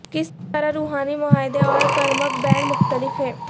کس طرح روحانی معاہدے اور کرمک بانڈ مختلف ہیں